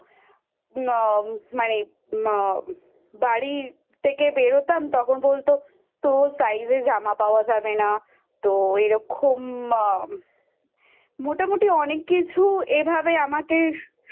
আ মানে মা বাড়ির থেকে বেরোতাম তখন বলতো তোর Size এর জামা পাওয়া যাবে না তো এরকম মা মোটামুটি অনেক কিছু এভাবে